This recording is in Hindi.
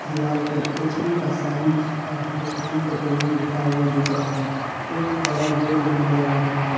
दीवार पे एच पी का साइन और हिंदुस्तान पेट्रोलियम लिखा हुआ दिख रहा हैं एक बड़ा गेट भी नजर आ रहा हैं।